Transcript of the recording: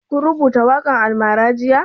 Shin ka rubuta waƙan almara jiya?